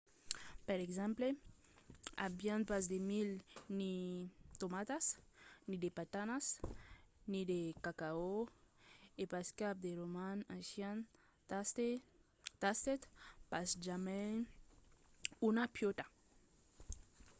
per exemple avián pas de milh ni de tomatas ni de patanas ni de cacao e pas cap de roman ancian tastèt pas jamai una piòta